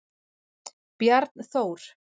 Bjarnþór